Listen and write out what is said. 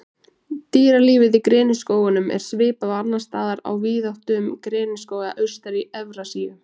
Dýralífið Í greniskógunum er svipað og annars staðar á víðáttum greniskóga austar í Evrasíu.